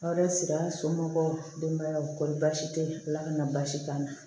Aw de siri a somɔgɔw denbaya la kɔsi tɛ yen ala kana basi k'a la